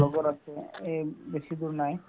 লগৰ আছে এই নাই